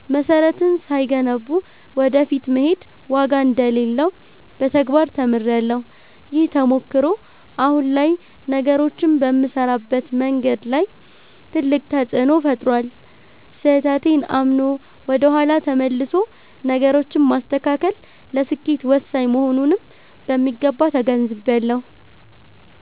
መሰረትን ሳይገነቡ ወደ ፊት መሄድ ዋጋ እንደሌለው በተግባር ተምሬያለሁ። ይህ ተሞክሮ አሁን ላይ ነገሮችን በምሰራበት መንገድ ላይ ትልቅ ተፅእኖ ፈጥሯል። ስህተቴን አምኖ ወደ ኋላ ተመልሶ ነገሮችን ማስተካከል ለስኬት ወሳኝ መሆኑንም በሚገባ ተገንዝቤያለሁ።